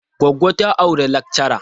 Goggo ta auri lakchara.